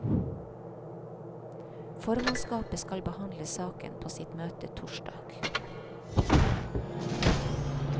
Formannskapet skal behandle saken på sitt møte torsdag.